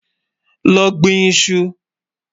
Lọ́ gbìn ìṣù.